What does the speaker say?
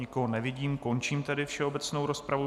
Nikoho nevidím, končím tedy všeobecnou rozpravu.